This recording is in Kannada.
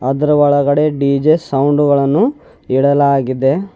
ಅದರ ಒಳಗಡೆ ಡಿ_ಜೆ ಸೌಂಡ್ ಗಳನ್ನು ಇಡಲಾಗಿದೆ.